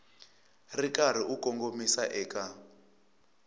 ri karhi u kongomisa eka